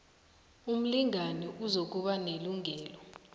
umlingani uzokuba nelungelo